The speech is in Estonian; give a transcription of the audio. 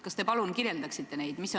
Kas te palun kirjeldaksite neid tegevusi?